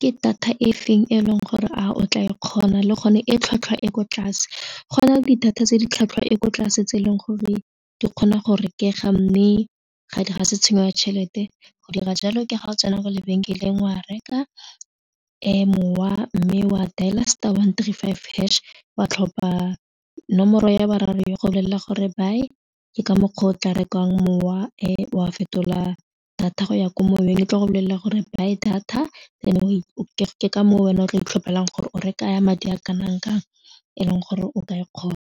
ke data e feng e leng gore a o tla e kgona le gone e tlhwatlhwa e ko tlase go na le di-data tse di tlhwatlhwa e ko tlase tse e leng gore di kgona go rekega mme ga se tshenyo ya tšhelete go dira jalo ke ga o tsena kwa lebenkeleng wa reka mowa mme wa dial-a star one three five hash wa tlhopha nomoro ya boraro ya go bolelela gore buy ke ka mokgwa o tla rekang mowa wa fetola data go ya ko moweng e tlo go bolelela gore buy data ke ka moo wena o tla itlhopela gore o reka ya madi a kanang kang eleng gore o ka e kgona.